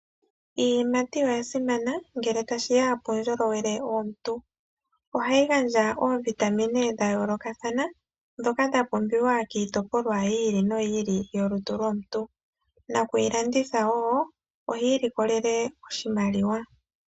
Iiyimati oyasimana ngele tashi ya puundjolowele wolutu lwomuntu. Ohayi gandja oovitamine dha yoolokathana ndhoka dhapumbiwa kiitopolwa yi ili noyi ili yolutu lwomuntu, nakuyilanditha woo ohiilikolele oshimaliwa.